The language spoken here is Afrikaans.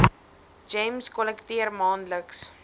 gems kollekteer maandeliks